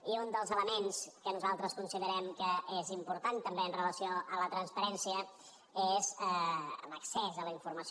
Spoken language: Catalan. i un dels elements que nosaltres considerem que és important també amb relació a la transparència és l’accés a la informació